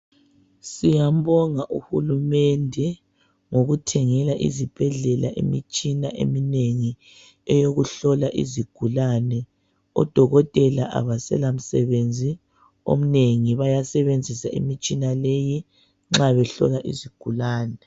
Siyambonga uhulumende ngokuthengela izibhedlela imitshina eminengi eyokuhlola izigulane , odokotela abasela misebenzi eminengi bayasebenzisa imitshina leyi nxa behlola izigulane.